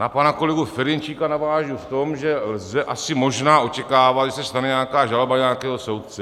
Na pana kolegu Ferjenčíka navážu v tom, že lze asi možná očekávat, že se stane nějaká žaloba nějakého soudce.